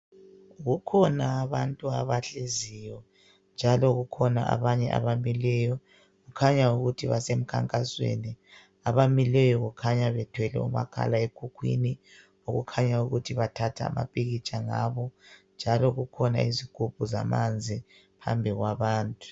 Kukhona abantu abahleziyo, njalo kukhona abanye abamileyo. Kukhanya ukuthi basemkhankasweni. Abamileyo kukhanya bethwele umakhala ekhukhwini, kukhanya ukuthi bathatha amapikitsha ngabo. Njalo kukhona izigubhu zamanzi phambi kwabantu.